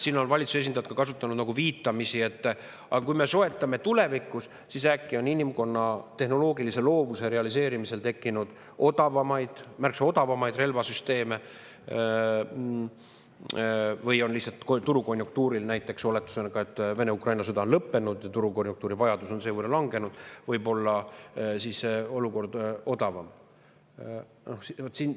Siin on valitsuse esindajad kasutanud viitamist, et aga kui me soetame tulevikus, siis äkki on inimkonna tehnoloogilise loovuse realiseerimise tõttu tekkinud märksa odavamaid relvasüsteeme või on lihtsalt teine turukonjunktuur, näiteks oletades, et Vene-Ukraina sõda on lõppenud ja turuvajadus on langenud, ning võib-olla siis on see odavam.